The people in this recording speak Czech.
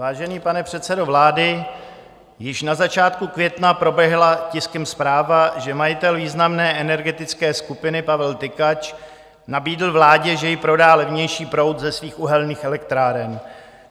Vážený pane předsedo vlády, již na začátku května proběhla tiskem zpráva, že majitel významné energetické skupiny Pavel Tykač nabídl vládě, že jí prodá levnější proud ze svých uhelných elektráren.